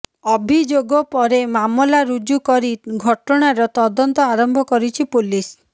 ଅଭିଯୋଗ ପରେ ମାମଲା ରୁଜୁ କରି ଘଟଣାର ତଦନ୍ତ ଆରମ୍ଭ କରିଛି ପୋଲିସ